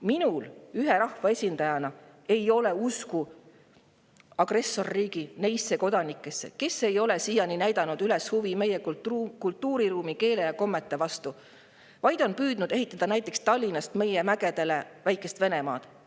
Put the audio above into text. Minul ühe rahvaesindajana ei ole usku agressorriigi neisse kodanikesse, kes ei ole siiani näidanud üles huvi meie kultuuriruumi, keele ja kommete vastu, vaid on püüdnud ehitada näiteks Tallinnas meie mägedele väikest Venemaad.